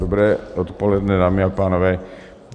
Dobré odpoledne, dámy a pánové.